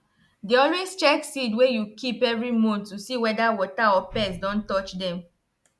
dey always check seed wey you keep every month to see whether water or pest don touch dem